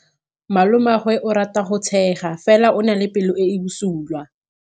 Malomagwe o rata go tshega fela o na le pelo e e bosula.